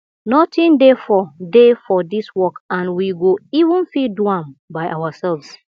nothing dey for dey for dis work and we go even fit do am by ourselves